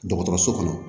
Dɔgɔtɔrɔso kɔnɔ